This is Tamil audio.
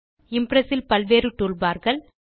இம்ப்ரெஸ் இல் பல்வேறு டூல் barகள்